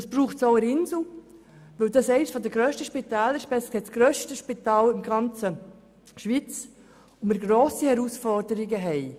Das braucht es auch in der Insel Gruppe AG, weil es das grösste Spital in der ganzen Schweiz ist und vor grossen Herausforderungen steht.